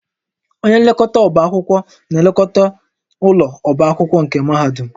Onye nlekọta ọbá akwụkwọ na-elekọta ụlọ ọbá akwụkwọ nke mahadum